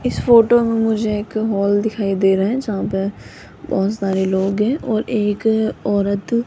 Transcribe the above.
इस फोटो में मुझे एक हॉल दिखाई दे रहा है जहां पर बहोत सारे लोग है और एक औरत --